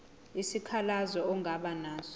isikhalazo ongaba naso